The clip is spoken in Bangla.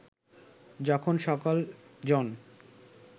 যখন সকল জন